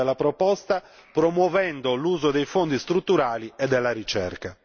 l'impatto sociale ed economico della proposta promuovendo l'uso dei Fondi strutturali e della ricerca.